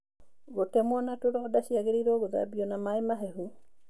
Gũtemwo na tũronda ciangĩrĩirwo cithambio na maĩ mahehu.